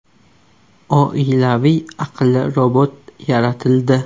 Oilaviy aqlli robot yaratildi.